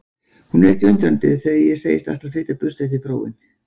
Hún er ekki undrandi þegar ég segist ætla að flytja burt eftir prófin.